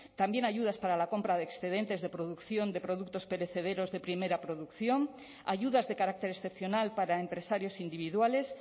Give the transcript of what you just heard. también ayudas para la compra de excedentes de producción de productos perecederos de primera producción ayudas de carácter excepcional para empresarios individuales